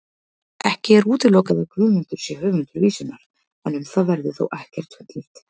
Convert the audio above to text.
Ekki er útilokað að Guðmundur sé höfundur vísunnar, en um það verður þó ekkert fullyrt.